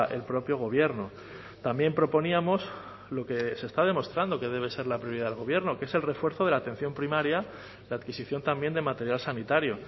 el propio gobierno también proponíamos lo que se está demostrando que debe ser la prioridad del gobierno que es el refuerzo de la atención primaria la adquisición también de material sanitario